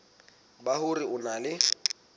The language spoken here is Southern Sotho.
ba hore o na le